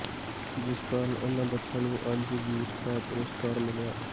ਜਿਸ ਕਾਰਨ ਇਨ੍ਹਾਂ ਬੱੱਚਿਆਂ ਨੂੰ ਅੱੱਜ ਵੀਰਤਾ ਪੁਰਸਕਾਰ ਮਿਲਿਆ